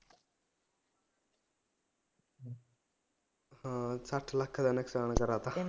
ਹਾਂ ਸ਼ੱਠ ਲੱਖ ਦਾ ਨੁਕਸਾਨ ਕਰਾ ਦਿੱਤਾ